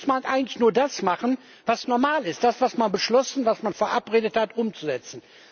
Und dann muss man eigentlich nur das machen, was normal ist Das was man beschlossen, was man verabredet hat, umsetzen.